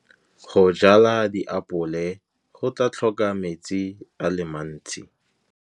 Go jala diapole go tla tlhoka metsi a le mantsi.